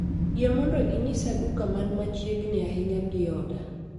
Yie mondo inyisa duka man machiegni ahinya gi oda